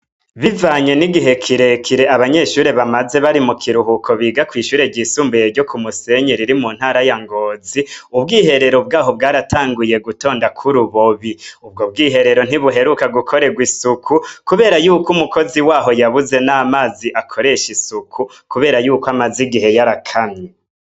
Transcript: Bivanye n'igihe kirekire abanyeshure bamaze bari mu kiruhuko biga kwishure ryisumbuyebyo ku Musenyi riri mu ntara ya Ngozi, ubwiherero bwabo bwaratanguye gutondako urubobi. Ubwo bwiherero ntibuheruka gukorerwa isuku kubera yuko numukozi waho yabuze n'amazi yo gukoresha isuku. Kubera yuko amazi amaze igihe yarakamye.